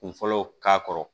Kun fɔlɔ k'a kɔrɔ